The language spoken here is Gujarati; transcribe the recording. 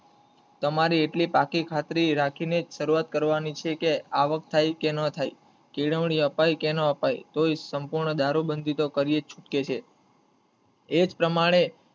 તમારી એટલી પાકી ખાતરી રાખી ને જ શરૂવાત કરવાની છે કે આવક થઈ કે ના થઈ કેળવણી અપાય કે ના અપાય તોય સંપૂર્ણ દારૂબંધી તો કરીએ જ છૂટકે છે એ જ પ્રમાણે